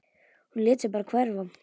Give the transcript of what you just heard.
Hún lét sig bara hverfa.